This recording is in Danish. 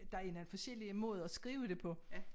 Der er nogle forskellige måder at skrive det på